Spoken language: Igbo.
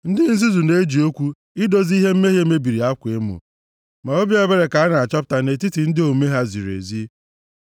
Ndị nzuzu na-eji okwu idozi ihe mmehie mebiri akwa emo; ma obi ebere ka a na-achọta nʼetiti ndị omume ha ziri ezi.